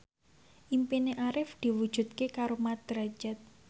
impine Arif diwujudke karo Mat Drajat